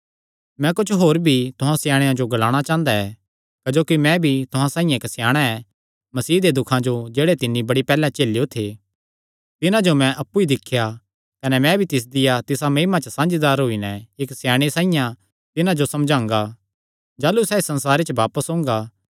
मैं कुच्छ होर भी तुहां स्याणेयां जो ग्लाणा चांह़दा ऐ क्जोकि मैं भी तुहां साइआं इक्क स्याणा ऐ मसीह दे दुखां जो जेह्ड़े तिन्नी बड़ी पैहल्ले झेलेयो थे तिन्हां जो मैं अप्पु ई दिख्या ऐ कने मैं भी तिसदिया तिसा महिमा च साझीदार होई नैं इक्क स्याणे साइआं तिन्हां जो समझांगा जाह़लू सैह़ इस संसारे च बापस ओंगा